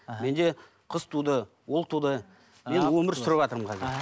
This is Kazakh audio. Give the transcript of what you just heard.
менде қыз туды ұл туды мен өмір сүрватырмын қазір іхі